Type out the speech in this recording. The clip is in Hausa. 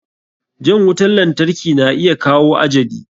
Jan wutan lantarki na iya kawo ajali.